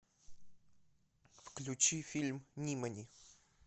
включи фильм нимани